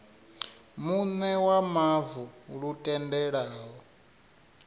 muṋe wa mavu lu tendelaho